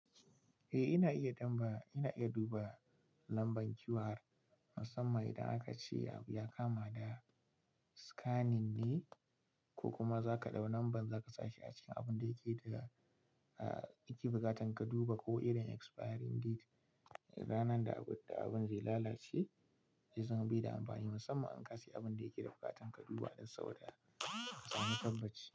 Eh ina iya duba lambar QR, musamman idan aka ce abu ya kama da scanning ne ko kuma zaka ɗau lambar zaka sa shi a cikin abun da yake da buƙatar ka duba ko irin expiring date, ranar da abun zai lalace, zai zama baida amfani musamman in ka sayi abun da yake da buƙatar ka duba don sauri kasamu lokaci.